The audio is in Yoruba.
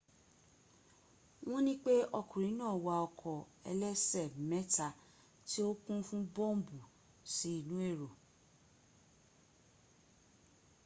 won nipe okunrin naa wa oko elese meta ti o kun fun bombu si inu ero